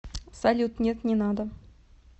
салют нет не надо